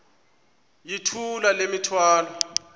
yithula le mithwalo